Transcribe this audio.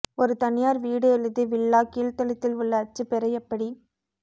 ஒரு தனியார் வீடு அல்லது வில்லா கீழ்தளத்தில் உள்ள அச்சு பெற எப்படி